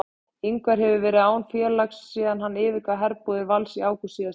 Ingvar hefur verið án félags síðan hann yfirgaf herbúðir Vals í ágúst síðastliðnum.